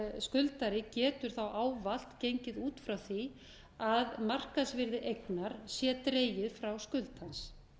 skuldari getur ávallt gengið út frá því að markaðsvirði eignar sé dregið frá skuld hans